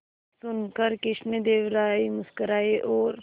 यह सुनकर कृष्णदेव राय मुस्कुराए और